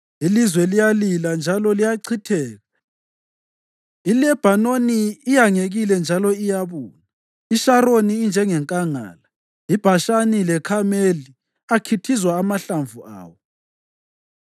Ilizwe liyalila njalo liyachitheka. ILebhanoni iyangekile njalo iyabuna; iSharoni injengenkangala, iBhashani leKhameli akhithizwa amahlamvu awo.